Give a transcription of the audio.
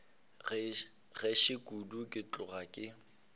gešo kudu ke tloga ke